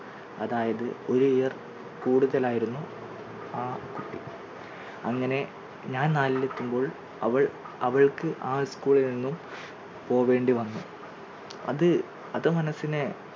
അതായത് ഒരു year കൂടുതലായിരുന്നു ആ കുട്ടി അങ്ങനെ ഞാൻ നാലിൽ എത്തുമ്പോൾ അവൾ അവൾക്ക് ആ school ൽ നിന്നും പോകേണ്ടി വന്നു അത് അത് മനസ്സിനെ